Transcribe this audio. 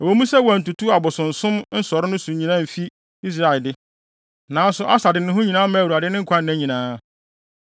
Ɛwɔ mu sɛ wɔantutu abosonsom nsɔre so no nyinaa amfi Israel de, nanso Asa de ne ho nyinaa maa Awurade ne nkwanna nyinaa.